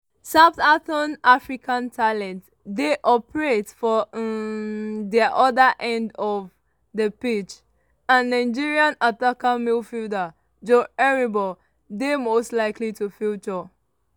southampton african talents dey operate for um di oda end of di pitch and nigerian attacking midfielder joe aribo dey most likely to feature.